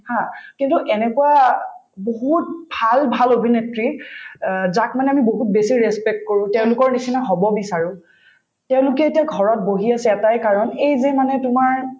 haa কিন্তু এনেকুৱা বহুত ভাল ভাল অভিনেত্ৰী অ যাক মানে আমি বহুত বেছি respect কৰো তেওঁলোকৰ নিচিনা হব বিচাৰো তেওঁলোকে এতিয়া ঘৰত বহি আছে এটাই কাৰণ এই যে মানে তোমাৰ